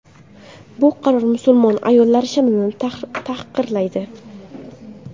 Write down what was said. Bu qaror musulmon ayollar sha’nini tahqirlaydi.